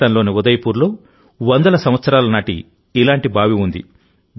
రాజస్థాన్లోని ఉదయ్పూర్లో వందల సంవత్సరాల నాటి ఇలాంటి బావి ఉంది